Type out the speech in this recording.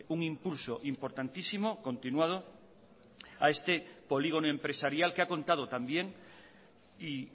un impulso importantísimo continuado a este polígono empresarial que ha contado también y